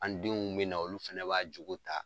An denw bɛ na olu fɛnɛ b'a jogo ta.